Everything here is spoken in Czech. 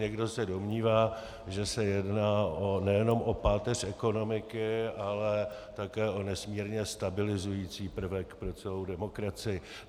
Někdo se domnívá, že se jedná nejenom o páteř ekonomiky, ale také o nesmírně stabilizující prvek pro celou demokracii.